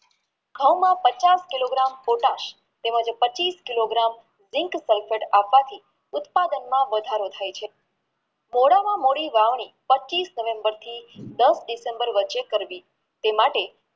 ઘાવના પચાસ kilo miter પોટાશ તેમજ પચીશ કિલો miter ઉત્પાદનમાં વધારો થઈ શકે છે મોડા મોદી વાત પચીશ નવેમ્બર થી દસ ડિસેમ્બર વચ્ચે કરવી તે માટે